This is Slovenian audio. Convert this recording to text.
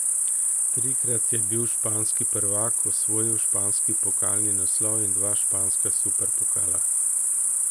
Trikrat je bil španski prvak, osvojil španski pokalni naslov in dva španska superpokala.